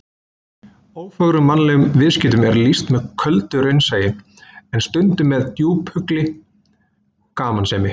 Ófögrum mannlegum viðskiptum er lýst með köldu raunsæi, en stundum með djúphugulli gamansemi.